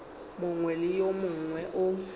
mongwe le yo mongwe o